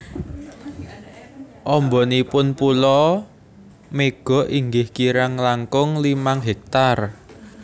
Ambanipun pulo Mega inggih kirang langkung limang hektar